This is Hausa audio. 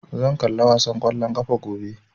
Zan kalla wasan ƙwallon ƙafa gobe